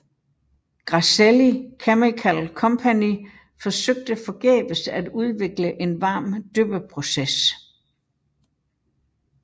Grasselli Chemical Company forsøgte forgæves at udvikle en varm dyppeproces